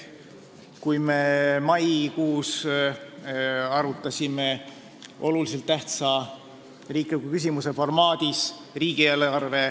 Maikuus me arutasime riigi eelarvestrateegiat olulise tähtsusega riikliku küsimuse formaadis.